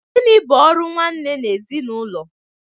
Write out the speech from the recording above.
Gịnị bụ ọrụ nwanne n'ezinụlọ?